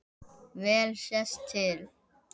Vel sést til